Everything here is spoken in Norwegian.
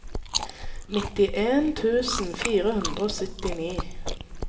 nittien tusen fire hundre og syttini